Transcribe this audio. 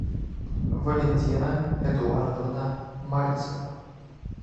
валентина эдуардовна мальцева